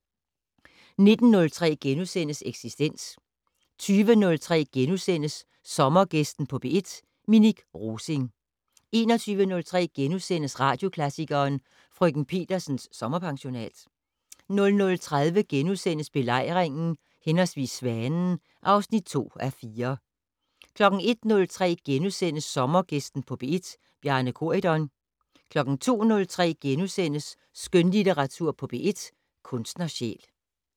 19:03: Eksistens * 20:03: Sommergæsten på P1: Minik Rosing * 21:03: Radioklassikeren: Frk. Petersens sommerpensionat * 00:30: Belejringen/Svanen (2:4)* 01:03: Sommergæsten på P1: Bjarne Corydon * 02:03: Skønlitteratur på P1: Kunstnersjæl *